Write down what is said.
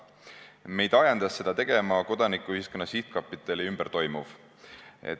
Meid ajendas seda tegema Kodanikuühiskonna Sihtkapitali ümber toimuv.